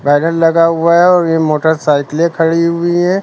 Banner लगा हुआ है और ये मोटरसाइकिलें खड़ी हुई हैं।